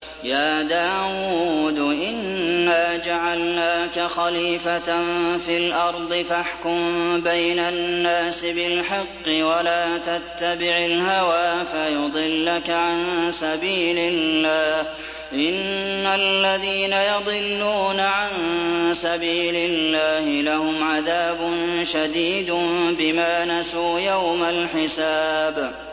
يَا دَاوُودُ إِنَّا جَعَلْنَاكَ خَلِيفَةً فِي الْأَرْضِ فَاحْكُم بَيْنَ النَّاسِ بِالْحَقِّ وَلَا تَتَّبِعِ الْهَوَىٰ فَيُضِلَّكَ عَن سَبِيلِ اللَّهِ ۚ إِنَّ الَّذِينَ يَضِلُّونَ عَن سَبِيلِ اللَّهِ لَهُمْ عَذَابٌ شَدِيدٌ بِمَا نَسُوا يَوْمَ الْحِسَابِ